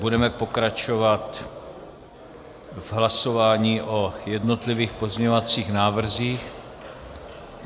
Budeme pokračovat v hlasování o jednotlivých pozměňovacích návrzích.